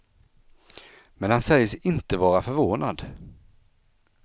Men han säger sig inte vara förvånad.